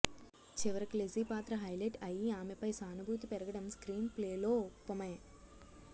చివరికి లెజీ పాత్ర హైలెట్ అయి ఆమెపై సానుభూతి పెరగడం స్క్రీన్ప్లే లోపమే